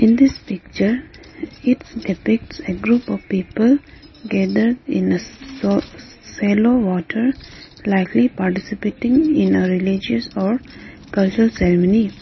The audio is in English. in this picture it's depicts a group of people gathered in a so shallow water likely participating in a religious or culture ceremony.